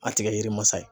A tɛ kɛ yiri masa ye